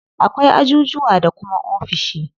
Akwai ajujuwa da kuma ofishi.